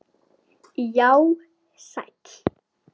Já, sæll.